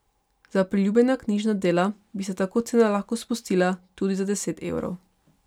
Za priljubljena knjižna dela bi se tako cena lahko spustila tudi za deset evrov.